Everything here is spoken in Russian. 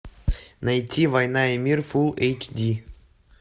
найти война и мир фул эйч ди